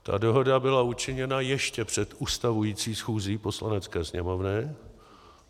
Ta dohoda byla učiněna ještě před ustavující schůzí Poslanecké sněmovny.